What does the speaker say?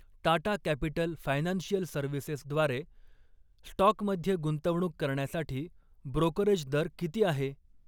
Tata capital financial services द्वारे स्टॉकमध्ये गुंतवणूक करण्यासाठी ब्रोकरेज दर किती आहे?